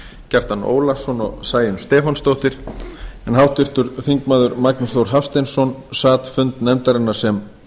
kjartan ólafsson og sæunn stefánsdóttir en háttvirtir þingmenn magnús þór hafsteinsson sat fund nefndarinnar sem